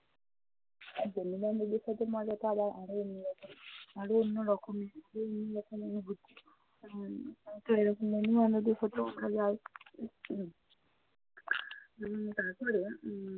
আর বন্ধু-বান্ধব এর সাথে মজা তারা আরো অন্যরকম আরও অন্যরকম অনুভূতি। উম তো এরকম বন্ধু-বান্ধবের সাথেও আমরা যাই এবং তার পরে